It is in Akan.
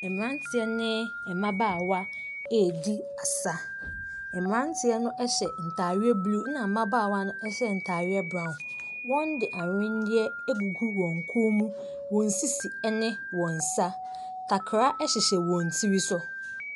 Ɛmeranteɛ ne mmabaawa edi asa emeranteɛ no ɛhyɛ ntaadeɛ bluu ɛna mmabaawa no hyɛ ntaareɛ brown wɔn de anwendeɛ egugu wɔn kɔn mu wɔn sisi ɛne wɔn nsa takra ɛhyehyɛ i sowɔn tir.